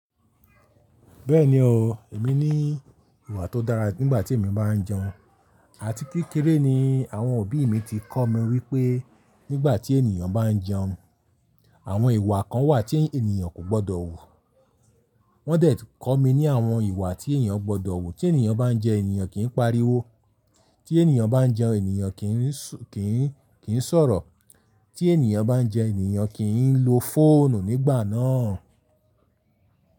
Bẹ́ẹ̀ni o, èmi ní ìwà tó dára nígbà tí èmi bá ń jẹun àti kékeré ni àwọn òbí mi ti kọ́ mi wípé nígbà tí ènìyàn bá ń jẹun, àwọn ìwà kan wà tí ènìyàn kò gbọ́dọ̀ wù. Wọ́n deti kọ́ mi ní àwọn ìwà tí ènìyàn gbọ́dọ̀ wù tí ènìyàn bá ń jẹun, ènìyàn kìí pariwo, tí ènìyàn bá ń jẹun, ènìyàn kìí sọ̀rọ̀, tí ènìyàn bá ń jẹun, ènìyàn kìí ń lo fóònù nígbà náà.